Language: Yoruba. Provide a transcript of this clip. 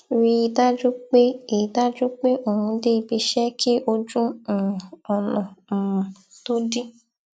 rí i dájú pé i dájú pé òun dé ibi iṣé kí ojú um ònà um tó dí